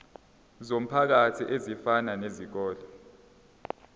zomphakathi ezifana nezikole